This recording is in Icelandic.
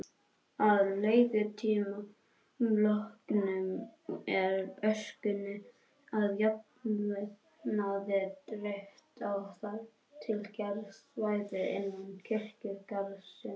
Að leigutíma loknum er öskunni að jafnaði dreift á þar til gerð svæði innan kirkjugarðsins.